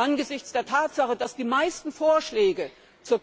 Angesichts der Tatsache, dass die meisten Vorschläge zur